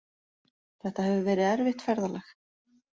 Þetta hefur verið erfitt ferðalag